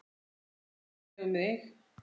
Svo var einnig um mig.